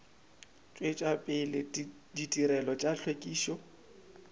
tšwetša pele ditirelo tša hlwekišo